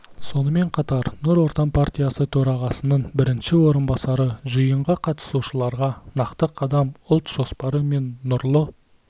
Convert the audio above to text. сонымен қатар нұр отан партиясы төрағасының бірінші орынбасары жиынға қатысушыларға нақты қадам ұлт жоспары мен нұрлы